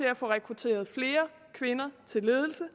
at få rekrutteret flere kvinder til ledelse